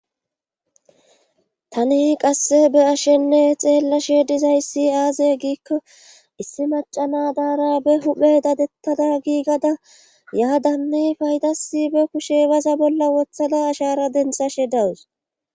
tani qasse be'ashenne xeellashe dizayssi aazey giikko issi macana daara be huphe dadettada giigada yaadanne faydasi be kushe baza bolla wothada ashara denithashe dawus